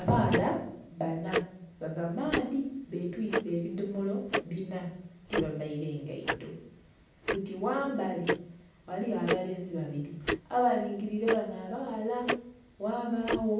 Abaghala bana bava maadhi betwise ebidhomolo bina tiba vaire ngaito, buti ghambali ghaligho abalenzi babiri abalingilile banho abaghala, ghabagho